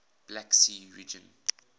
black sea region